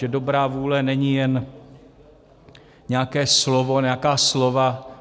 Že dobrá vůle není jen nějaké slovo, nějaká slova.